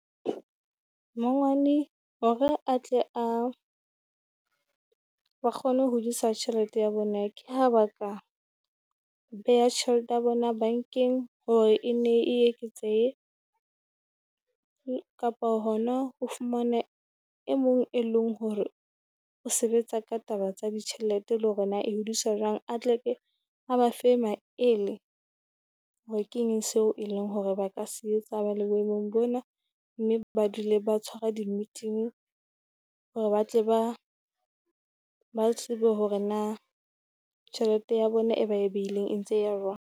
Mangwane hore a tle a a kgone ho hodisa tjhelete ya bo neke, ha ba ka beha tjhelete ya bona bankeng hore e nne e eketsehe. Kapa hona o fumane e mong e leng hore o sebetsa ka taba tsa ditjhelete, le hore na hodisa jwang, a tle ke a ba fe maele hore keng seo e leng hore ba ka se etsa ba le boemong bona. Mme ba dule ba tshwara di meeting, hore ba tle ba ba tsebe hore na tjhelete ya bona e ba beileng e ntse ya jwang?